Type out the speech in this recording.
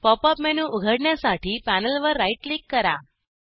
pop up menu उघडण्यासाठी पॅनेलवर right click करा